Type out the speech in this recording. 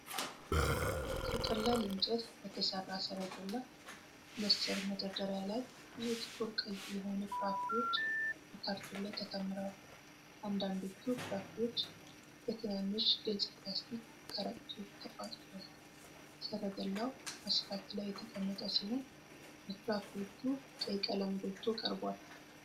ከቀላል እንጨት በተሠራ ሠረገላ መሰል መደርደሪያ ላይ ብዙ ጥቁር ቀይ የሆኑ ፍራፍሬዎች በካርቶን ላይ ተከምረዋል። አንዳንዶቹ ፍራፍሬዎች በትናንሽ ግልጽ ፕላስቲክ ከረጢቶች ተቋጥረዋል። ሠረገላው አስፋልት ላይ የተቀመጠ ሲሆን፣ የፍራፍሬዎቹ ቀይ ቀለም ጎልቶ ቀርቧል።